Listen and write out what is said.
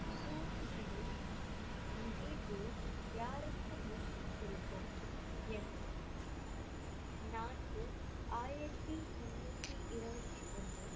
சூது யாருக்கும் முன் செல்வோம் எண் நான்கு ஆயிரத்தி முன்னூத்தி இருபத்தி ஒண்ணு